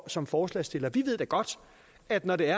som forslagsstillere vi ved da godt at når der